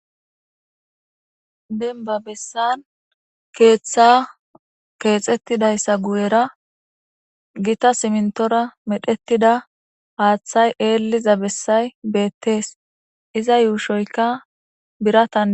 Denba bessan keeththa keexettidayssa guyera gita simintora medhettida haaththay eeliza bessay beettees iza yuushoyka biratan.